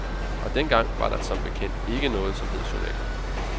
Og den gang var der som bekendt ikke noget, som hed journaler.